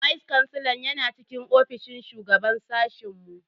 Vice kansilan yana cikin ofishin shugaban sashen mu.